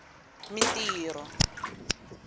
mintirho